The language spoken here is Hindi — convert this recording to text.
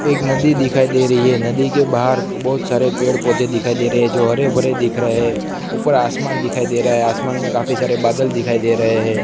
एक नदी दिखाई दे रही हैं नदी के बाहर बहुत सारे पेड़ पौधे दिखाई दे रहे हैं जो हरे भरे दिख रहे हैं ऊपर आसमान दिखाई दे रहा हैं आसमान में काफी सारे बादल दिखाई दे रहे हैं।